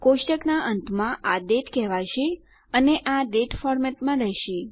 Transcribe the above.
કોષ્ટકનાં અંતમાં આ દાતે કહેવાશે અને આ ડેટ ફોર્મેટમાં રહેશે